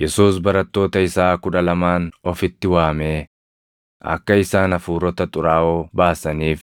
Yesuus barattoota isaa kudha lamaan ofitti waamee akka isaan hafuurota xuraaʼoo baasaniif,